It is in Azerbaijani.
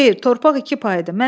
“Xeyr, torpaq iki paydı.